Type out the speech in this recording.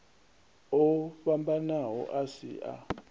o fhambanaho a si a